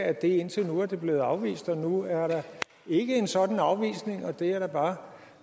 at det indtil nu er blevet afvist og nu er der ikke en sådan afvisning og det er jeg da bare